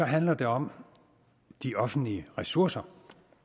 handler det om de offentlige ressourcer